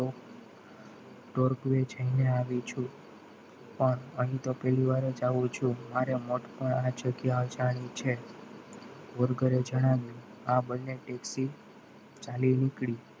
તર્ક અહીંયા આવી છું પણ અહીંયા તો પહેલીવાર જ આવું છું મારા માટે આ જગ્યા જાણી છે વલધરે જણાવ્યું આ બંને taxi ચાલી નીકળી.